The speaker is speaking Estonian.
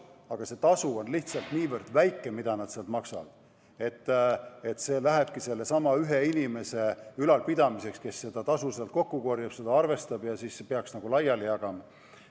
Aga see tasu on lihtsalt niivõrd väike, et see lähebki sellesama ühe inimese ülalpidamiseks, kes seda tasu kokku korjab, arvestab ja peaks siis laiali jagama.